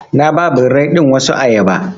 Na ba birrai ɗin wasu ayaba.